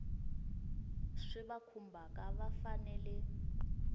swi va khumbhaka va fanele